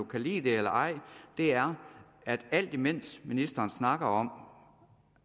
kan lide det eller ej er at alt imens ministeren snakker om